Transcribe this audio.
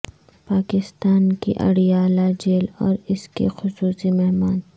پاکستان کی اڈیالہ جیل اور اس کے خصوصی مہمان